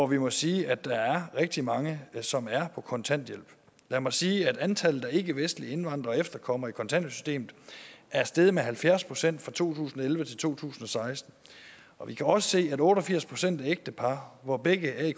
vi må sige at der er rigtig mange som er på kontanthjælp lad mig sige at antallet af ikkevestlige indvandrere og efterkommere i kontanthjælpssystemet er steget med halvfjerds procent fra to tusind og elleve til to tusind og seksten vi kan også se at otte og firs procent af ægtepar hvor begge er i